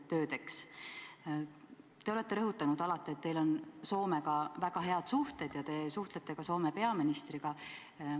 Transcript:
Te olete alati rõhutanud, et teil on Soomega väga head suhted ja te suhtlete ka Soome peaministriga.